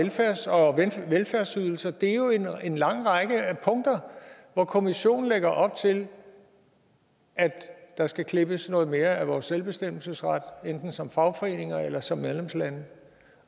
og velfærdsydelser det er jo en lang række punkter hvor kommissionen lægger op til at der skal klippes noget mere af vores selvbestemmelsesret enten som fagforeninger eller som medlemslande